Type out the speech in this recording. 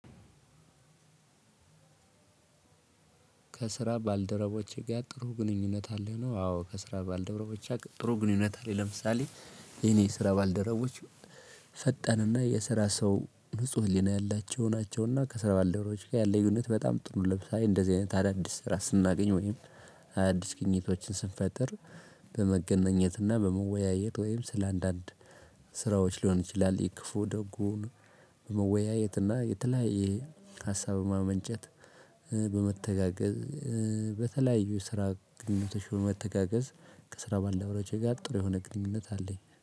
ከስራ ባልደረቦቼ ጋር ጥሩ ግንኙነት አለኝ ነው። አዎ ከስራ ባልደረቦች ጥሩ ግንኙነት ላይ። ለምሳሌ የኔ ስራ ባልደረቦች ፈጣንና የስራ ሰው ንጹህ ህሊና ያላቸው ናቸውና ከስራ ባልደረቦች ጋር ያለኝ ግንኙነት በጣም ጥሩ። ለምሳሌ እንደዚህ አይነት አዳዲስ ስራ ስናገኝ ወይም አዳዲስ ግኝቶችን ስንፈጥር በመገናኘትና በመወያየት ወይም ስለአንዳንድ ስራዎች ሊሆን ይችላል። የክፉ ደጉን በመወያየትና የተለያየ ሀሳብ በማመንጨት በመተጋገዝ። በተለያዩ ስራ ግንኙነቶች በመተጋገዝ ከስራ ባልደረቦቼ ጋር ጥሩ የሆነ ግንኙነት አለኝ